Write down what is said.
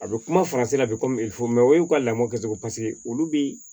A bɛ kuma faransi la bi mɛ o y'u ka lamɔ kɛcogo paseke olu bi